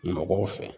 Mɔgɔw fɛ